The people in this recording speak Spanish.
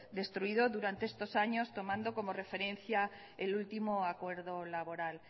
destruido durante estos años tomando como referencia el último acuerdo laboral